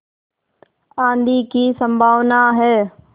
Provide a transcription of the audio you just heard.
आँधी की संभावना है